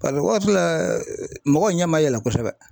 Paseke waati la mɔgɔw ɲɛ ma yɛlɛ kosɛbɛ.